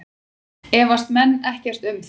Efast menn ekkert um það?